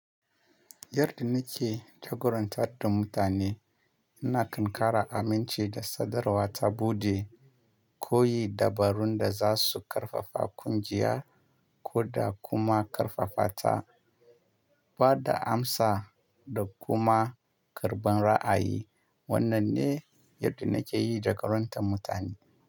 Yadda na ke jagorantar da mutane, ina kankara amince da sadarwa ta buɗe, koyi dabarun da za su ƙarfafa ƙungiya, ko da kuma ƙarfafa ta, ba da amsa da kuma karɓar ra'ayi. Wannan ne yadda na ke yi jagorantar mutane.